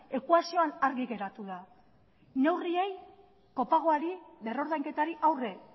ekuazioan argi geratu da neurriei kopagoari berrordainketari aurre